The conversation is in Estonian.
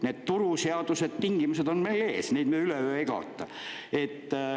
Need turuseadused, -tingimused on meie ees, neid me üleöö ei kaota.